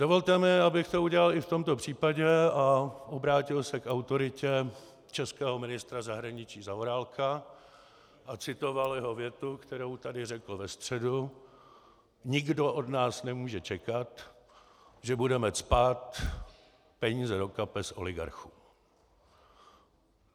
Dovolte mi, abych to udělal i v tomto případě a obrátil se k autoritě českého ministra zahraničí Zaorálka a citoval jeho větu, kterou tady řekl ve středu: "Nikdo od nás nemůže čekat, že budeme cpát peníze do kapes oligarchům."